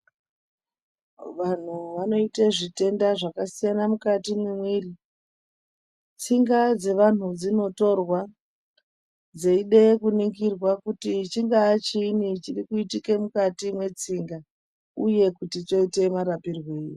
Vanthu vanoite zvitenda zvakasiyana mukati mwemwiri. Tsinga dzevanhu dzinotorwa ,dzeide kuningirwe kuti chingaa chiinyi chirikuitike mukati mwetsinga, uye kuti choite marapirwei?